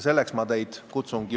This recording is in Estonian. Selleks ma teid üles kutsungi.